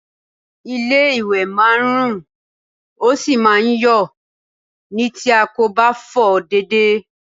Ilé-ìwẹ̀ máa ń rùn, ó sì máa ń yọ̀ ni tí a kò bá fọ̀ ọ́ déédéé